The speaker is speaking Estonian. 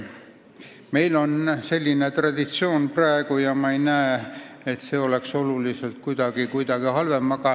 Meil on praegu selline traditsioon ja ma ei näe, et see oleks kuidagi oluliselt halvem.